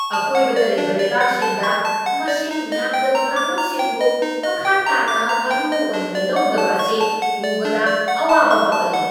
ꯑꯀꯣꯏꯕꯗ ꯂꯩꯕ ꯂꯩꯕꯥꯛꯁꯤꯡꯗ ꯃꯁꯤꯡ ꯌꯥꯝꯗꯕ ꯀꯥꯡꯂꯨꯞꯁꯤꯡꯕꯨ ꯃꯈꯥ ꯇꯥꯅ ꯃꯔꯨ ꯑꯣꯏꯅ ꯂꯧꯗꯕ ꯑꯁꯤ ꯎꯕꯗ ꯑꯋꯥꯕ ꯐꯥꯎꯍꯜꯂꯤ ꯫